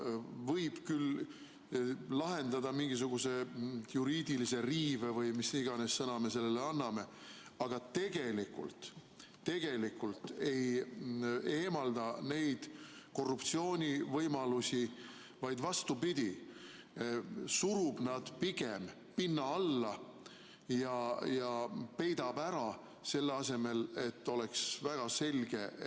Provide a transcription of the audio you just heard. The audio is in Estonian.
Ta võib küll lahendada mingisuguse juriidilise riive või mis iganes sõna me sellele anname, aga tegelikult ta ei eemalda neid korruptsioonivõimalusi, vaid vastupidi, surub nad pigem pinna alla ja peidab ära, selle asemel, et see oleks väga selge.